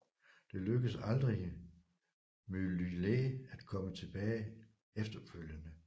Det lykkedes aldrig Myllylä at komme tilbage efterfølgende